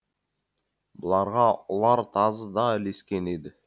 бұларға ұлар тазы да ілескен еді